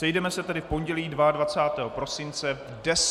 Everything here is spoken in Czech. Sejdeme se tedy v pondělí 22. prosince v 10.00 hodin.